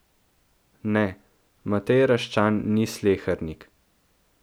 Ne, Matej Raščan ni slehernik.